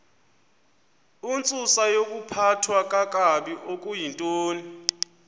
intsusayokuphathwa kakabi okuyintoni